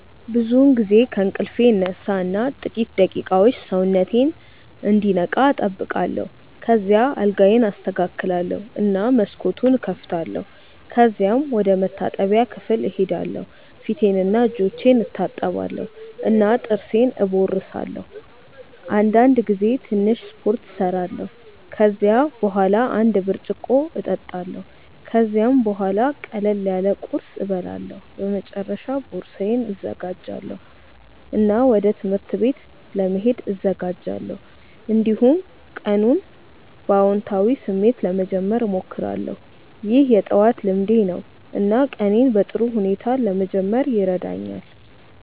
ብዙውን ጊዜ ከእንቅልፌ እነሳ እና ጥቂት ደቂቃዎች ሰውነቴን እንዲነቃ እጠብቃለሁ። ከዚያ አልጋዬን አስተካክላለሁ እና መስኮቱን እከፍታለሁ። ከዚያም ወደ መታጠቢያ ክፍል እሄዳለሁ ፊቴንና እጆቼን እታጠባለሁ እና ጥርሴን እቦርሳለሁ። አንዳንድ ጊዜ ትንሽ ስፖርት እሰራለሁ። ከዚያ በኋላ አንድ ብርጭቆ እጠጣለሁ። ከዚያም ቡሃላ ቅለል ያለ ቁርስ እበላለሁ። በመጨረሻ ቦርሳዬን እዘጋጃለሁ እና ወደ ትምህርት ቤት ለመሄድ እዘጋጃለሁ። እንዲሁም ቀኑን በአዎንታዊ ስሜት ለመጀመር እሞክራለሁ። ይህ የጠዋት ልምዴ ነው እና ቀኔን በጥሩ ሁኔታ ለመጀመር ይረዳኛል።